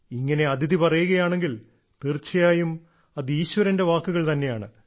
ഇങ്ങനെ അദിതി പറയുകയാണെങ്കിൽ തീർച്ചയായും അത് ഈശ്വരന്റെ വാക്കുകൾ തന്നെയാണ്